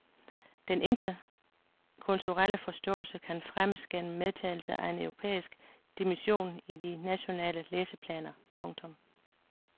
Den interkulturelle forståelse kan fremmes gennem medtagelse af en europæisk dimension i de nationale læseplaner. punktum